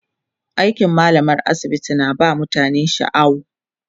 aikin mallamar asibiti na ba mutane shaaw